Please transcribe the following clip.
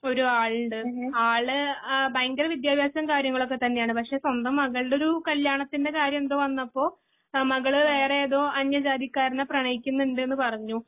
ഒരു ആളുണ്ട് ആള് ആ ഭയങ്കരവിദ്ത്യഭ്യസവും കാര്യങ്ങളൊക്കെത്തന്നെയാണ് സ്വന്തം മകളുടെ ഒരു കല്യാണത്തിന്റെ കാര്യം എന്തോ വന്നപ്പോൾ മകള് വേറെ ഏതോ അന്യജാതിയിൽ കാരനെ പ്രണയിക്കുന്നുണ്ടുന്നു പറഞ്ഞു.